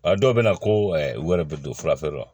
A dɔw bɛ na ko u yɛrɛ bɛ don fura feere la